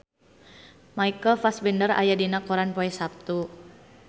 Michael Fassbender aya dina koran poe Saptu